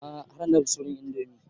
A'a har na dafa supreme indomie